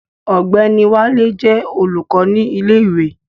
Ọ̀gbẹ́ni Wálé jẹ́ olùkọ́ ní ilé ìwé